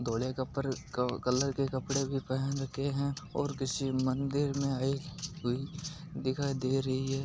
धोले कलर के कपडे भी पहेने हुए है और किसी मंदिर में भी दिखाई दे रही है।